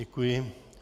Děkuji.